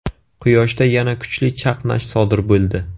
Quyoshda yana kuchli chaqnash sodir bo‘ldi.